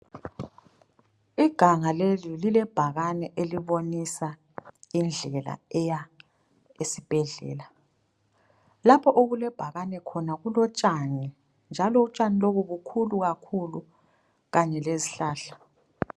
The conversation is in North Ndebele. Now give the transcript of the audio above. Iganga leli lile bhakane elibonisa indlela eya esibhedlela lapho okulebhakane khona kulotshani njalo utshani lobu bukhulu kakhulu kanye lezihlahla.